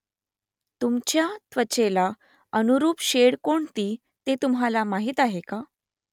तुमच्या त्वचेला अनुरूप शेड कोणती ते तुम्हाला माहीत आहे का ?